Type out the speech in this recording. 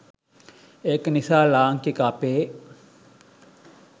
ඒක නිසා ලාංකික අපේ